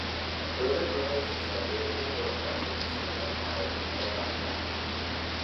Dawladdu waxay siisaa beeralayda waxbarasho ku saabsan maareynta kheyraadka.